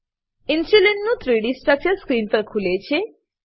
ઇન્સ્યુલીનનું 3ડી structure screen પર ખુલે છે